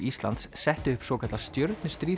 Íslands settu upp svokallað